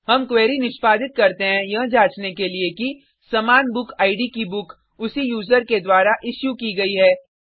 हम क्वेरी निष्पादित करते हैं यह जांचने के लिए कि समान बुकिड की बुक उसी यूजर के द्वारा इशू की गयी है